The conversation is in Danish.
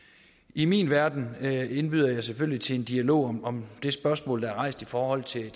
i min verden indbyder jeg selvfølgelig til en dialog om om det spørgsmål der er rejst i forhold til